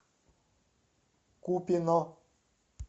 купино